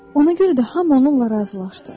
Ona görə də hamı onunla razılaşdı.